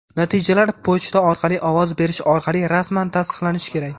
Natijalar pochta orqali ovoz berish orqali rasman tasdiqlanishi kerak.